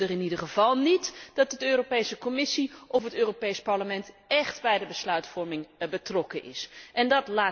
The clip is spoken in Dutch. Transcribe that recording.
Ze willen er in ieder geval niet dat de Europese Commissie of het Europees Parlement echt bij de besluitvorming betrokken zijn.